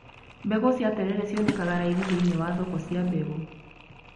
Mbegũ cia terere cionekaga raithi thĩiniĩ wa thoko cia mbegũ.